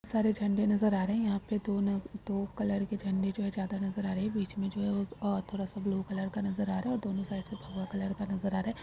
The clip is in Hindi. सारे झंडे नजर आ रहे है यहाँ पे दो ना दो कलर के झंडे जो है ज्यादा नजर आ रहे है बीच में जो है वो और थोड़ा सा ब्लू कलर का नजर आ रहा है और दोनो साइड से भगवा कलर का नजर आ रहा है।